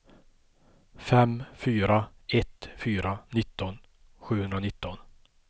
fem fyra ett fyra nitton sjuhundranitton